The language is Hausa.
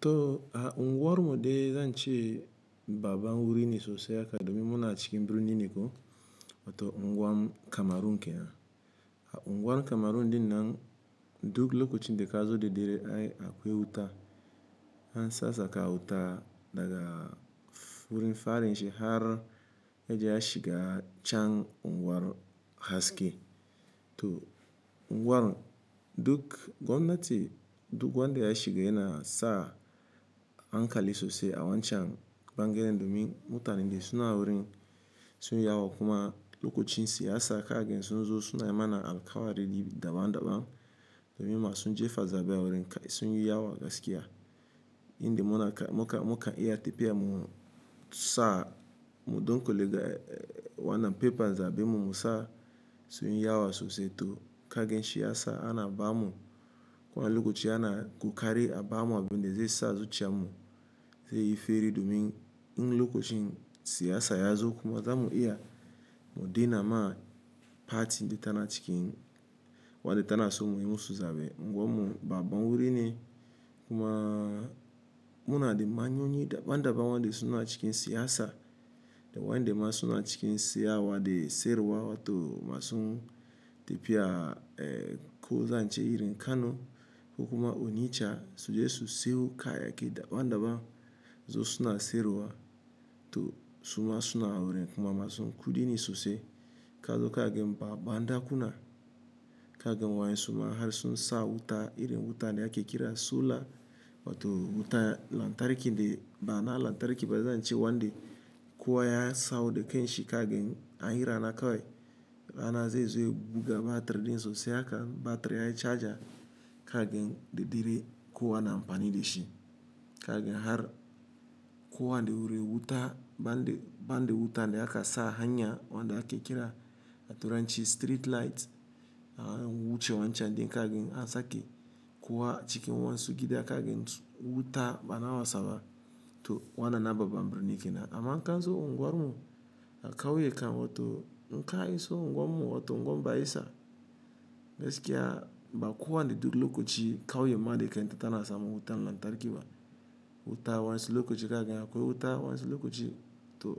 To, a unguwar mu de zan ce babba wurin sosai haka domin muna cikin birni niko, wato unguwar Kamaru ke nan. A unguwar Kamaru din nan duk lokacin da ka zo da dare ai akwai wuta. An sasaka wuta daga wurin farin shi har yaje ya shiga can unguwar haske. To, unguwar duk gwamnati, duk wanda da ya shiga yana sa hankali sosai a wancan bangaren domin mutanen dai suna wurin sun yi yawa kuma lokacin siyasa kagen sun zo suna mana alkawari daban-daban domin masu jefa zaɓe a wurin sun yi yawa gaskiya. Inda muna muka, muka iya tafiya mu sa mu ɗunkule ga wannan pepa zaɓe mu mu sa sun yi yawa sosai to kagen shi ya sa ana ba mu, kuwa lokaci ana gukari a ba mu abin da zai sa zuciyar mu zai yi feri domin in lokacin siyasa ya zo kuma za mu iya mu dina ma pati da tana cikin, wadda tana so mu yi mu su zaɓe. Unguwar mu babbab wurin kuma muna da manyonyi daban-daban waɗanda suna cikin siyasa da waɗanda masu na cikin siyasa waɗe siruwa wato masu tafiya ko zan ce irin Kano ko kuma Onitsha su je su siyo kayayake daban-daban zo suna siruwa to suma suna wurin kuma masu kudi sosai. Kazo kagen ba banda kuna kagen waye suma har sun sa wuta irin wuta da ake kira sola wato wuta lantarki dai ba na lantarki ba zan ce wanda kuwa ya sau da kanshi kagen an yi rana kawai ana zai zai buga batiri din sosai haka batiri yayi caja kagen da dare kuwa na amfani da shi. Kagen har kowa da wuri wuta banda, banda wuta da aka sa hanya wanda ake kira a turanci street light. An wuce wancan dai kagen an sake kuwa cikin wani sugidi kagen wuta ba na wasaba to wannan na babban birni ke nan. Amma kan zo unguwar mu a kauye kan wato n ka iso unguwar mu wato unguwar Bayisa gaskiya ba kowa ne duk lokaci kawai ma dai kai tana samu wuta lantarki ba. Wuta wasu lokaci kagen akwai wuta wasu lokaci to